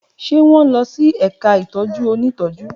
Ṣe wọn nlọ si ẹka itọju ntọju?